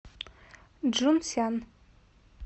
чжунсян